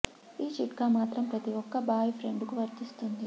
ఈ చిట్కా మాత్రం ప్రతి ఒక్క బాయ్ ఫ్రెండ్ కు వర్థిస్తుంది